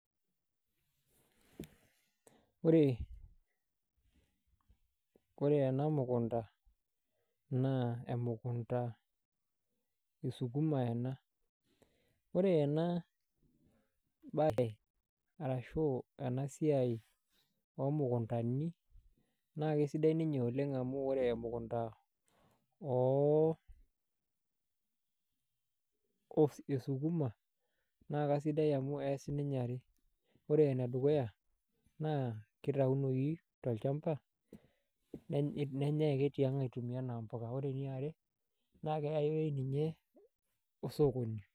Ore ore ena mukunda naa emukunda esukuma ena ore ena baye arashu ena siai omukundani naa kasidai ninye oleng' amu ore emukunda esukuma naa kasidai amu ees ninye are, ore ene dukuya kitayunoyu tolchamba nenyai ake tiang' aitumia enaa mpuka ore eniare keyau ninye osokoni.